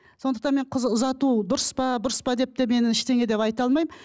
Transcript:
сондықтан мен қыз ұзату дұрыс па бұрыс па деп те мен ештеңе деп айта алмаймын